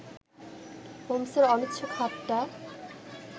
হোমসের অনিচ্ছুক হাতটা